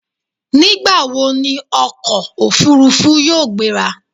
Nígbà wọ ni ọkọ̀ òfurufú yóò gbéra?